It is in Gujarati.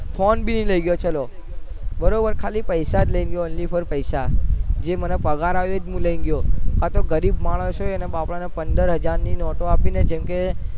ફોન બી નહી લઇ ગયો ચાલો બરોબર ખાલી પૈસા લઇ ગયો only for પૈસા જે મને પગાર આવ્યો એજ હું લઇ ગયોકાતો ગરીબ માણસ હોય એને બાપા ને પંદર હજાર ની નોટો આપીને જેમકે